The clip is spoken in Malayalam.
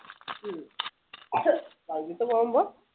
ഉം വൈകിയിട്ട് പോകുമ്പോ